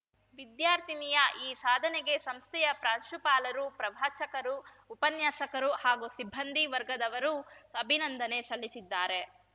ವಿದ್ಯಾರ್ಥಿನಿಯ ಈ ಸಾಧನೆಗೆ ಸಂಸ್ಥೆಯ ಪ್ರಾಂಶುಪಾಲರು ಪ್ರವಾಚಕರು ಉಪನ್ಯಾಸಕರು ಹಾಗೂ ಸಿಬ್ಬಂದಿ ವರ್ಗದವರು ಅಭಿನಂದನೆ ಸಲ್ಲಿಸಿದ್ದಾರೆ